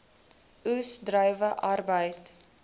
oes druiwe arbeid